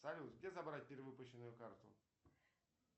салют где забрать перевыпущенную карту